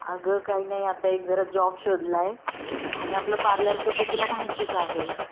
अग काही नाही आता एक जरा जॉब शोधलाय. आणि आपलं पार्लरच तर तुला माहितीच आहे.